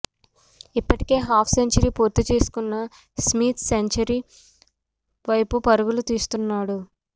ఇప్పటికే half century పూర్తి చేసుకున్న స్మిత్ సెంచరీ వైపు పరుగులు తీస్తున్నాడు